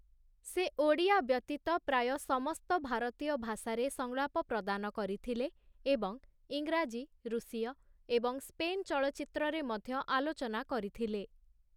ସେ ଓଡ଼ିଆ ବ୍ୟତୀତ ପ୍ରାୟ ସମସ୍ତ ଭାରତୀୟ ଭାଷାରେ ସଂଳାପ ପ୍ରଦାନ କରିଥିଲେ ଏବଂ ଇଂରାଜୀ, ରୁଷୀୟ ଏବଂ ସ୍ପେନ୍ ଚଳଚ୍ଚିତ୍ରରେ ମଧ୍ୟ ଆଲୋଚନା କରିଥିଲେ ।